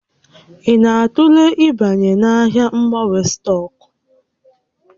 Ị na-atụle ịbanye n'ahịa mgbanwe stọọkụ?